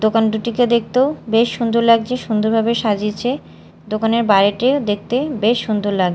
দোকান দুটিকে দেখতেও বেশ সুন্দর লাগছে সুন্দরভাবে সাজিয়েছে দোকানের বাইরেটিও দেখতে বেশ সুন্দর লাগ--